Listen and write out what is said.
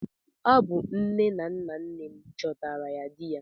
Ọ bụ nne na nna nne m chọtara ya di ya.